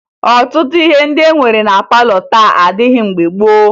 Ọtụtụ ihe ndị e nwere na palọ taa adịghị mgbe gboo